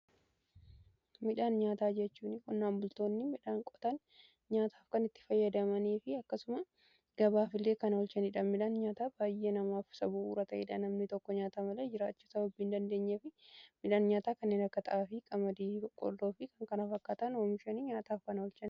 Midhaan nyaataa jechuun qonnaan bultoonni midhaan qotaan nyaataaf kan itti fayyadamanii fi akkasuma gabaafillee kan oolchanidha. Namni tokko nyaata malee jiraachuu sababii hin dandeenyeef midhaan nyaataa kanneen akka Xaafii, qamadii, boqqoloo fi kan kanaa fakkaatan oomishanii nyaataaf kana olchan.